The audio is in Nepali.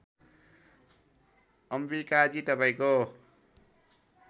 अम्बिकाजी तपाईँको